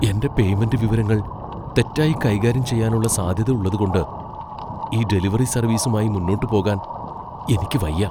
എന്റെ പേയ്മെന്റ് വിവരങ്ങൾ തെറ്റായി കൈകാര്യം ചെയ്യാനുള്ള സാധ്യത ഉള്ളതുകൊണ്ട് ഈ ഡെലിവറി സർവീസുമായി മുന്നോട്ട് പോകാൻ എനിക്ക് വയ്യ.